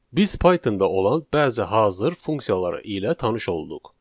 Biz Pythonda olan bəzi hazır funksiyalarla tanış olduq.